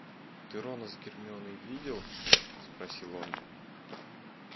ты рона с гермионой видел спросил он